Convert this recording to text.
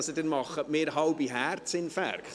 Sie machen mir da halbe Herzinfarkte!